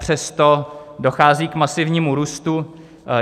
Přesto dochází k masivnímu růstu.